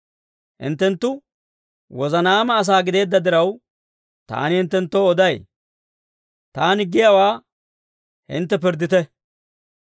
Hinttenttu wozanaama asaa gideedda diraw, taani hinttenttoo oday. Taani giyaawaa hintte pirddite.